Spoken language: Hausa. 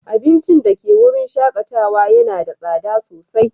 Abincin da ke wurin shakatawa yana da tsada sosai.